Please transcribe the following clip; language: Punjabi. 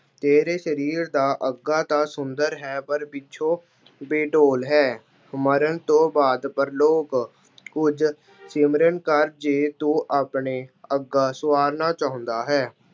ਤੇਰੇ ਸਰੀਰ ਦਾ ਅੱਗਾ ਤਾਂ ਸੁੰਦਰ ਹੈ, ਪਰ ਪਿੱਛੋਂ ਬੇਡੌਲ ਹੈ। ਮਰਨ ਤੋਂ ਬਾਅਦ ਪ੍ਰਲੋਕ- ਉਝਲ ਸਿਮਰਨ ਕਰ ਜੇ ਤੂੰ ਆਪਣੇ ਅੱਗਾ ਸੰਵਾਰਨਾ ਚਾਹੁੰਦਾ ਹੈ।